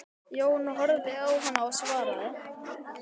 Jón horfði á hana og svaraði